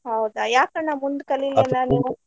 ಹೌದಾ ಯಾಕ್ ಅಣ್ಣಾ ಮುಂದ ಕಲಿಲಿಲ್ಲಾ ಅಣ್ಣ ನೀವು?